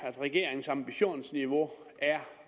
at regeringens ambitionsniveau er